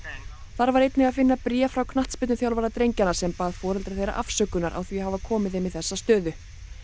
þar var einnig að finna bréf frá knattspyrnuþjálfara drengjanna sem bað foreldra þeirra afsökunar á því að hafa komið þeim í þessa stöðu